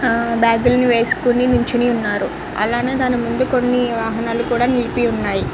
ఆ బాగ్ లు వేసుకొని నిల్చొని ఉన్నారు అలాగే దాని ముందు కొన్ని వాహనాలు కూడా నిలిపి వున్నాయ్.